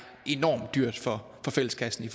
enormt dyrt for fælleskassen i